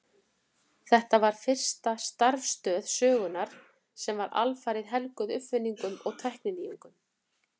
Þetta var fyrsta starfstöð sögunnar sem var alfarið helguð uppfinningum og tækninýjungum.